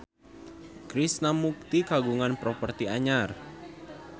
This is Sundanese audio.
Krishna Mukti kagungan properti anyar